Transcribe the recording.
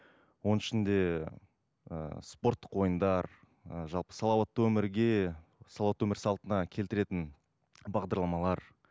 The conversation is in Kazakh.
оның ішінде ы спорттық ойындар ы жалпы салауатты өмірге салауатты өмір салтына келтіретін бағдарламалар